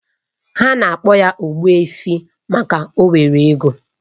Ha na-akpo ya Ogbuefi maka o nwere ego